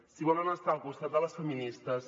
si volen estar al costat de les feministes